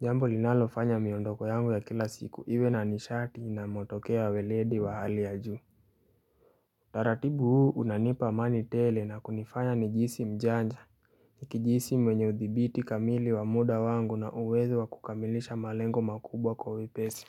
Jambo linalo fanya miondoko yangu ya kila siku iwe na nishati na matokeo ya weledi wa hali ya juu. Taratibu huu unanipa amani tele na kunifanya nijihisi mjanja nikijihisi mwenye udhibiti kamili wa muda wangu na uwezo wa kukamilisha malengo makubwa kwa wepesi.